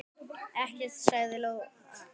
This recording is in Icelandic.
Ekkert, sagði Lóa.